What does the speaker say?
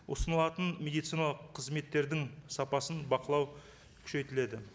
ұсынылатын медициналық қызметтердің сапасын бақылау күшейтіледі